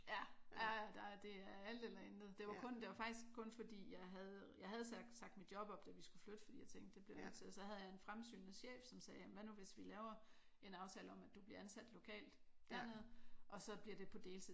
Ja ja. Der det er alt eller intet. Det var kun det var faktisk kun fordi jeg havde jeg havde sagt mit job op da vi skulle flytte fordi jeg tænkte det bliver jeg nødt til og så havde jeg en fremsynet chef som sagde hvad nu hvis vi laver en aftale om at du bliver ansat lokalt dernede og så bliver det på deltid